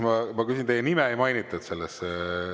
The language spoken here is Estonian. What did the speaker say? Teie nime ei mainitud selles …